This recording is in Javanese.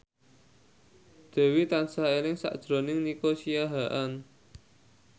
Dewi tansah eling sakjroning Nico Siahaan